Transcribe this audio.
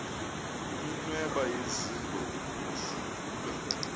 iminweba yezingwe ibifudula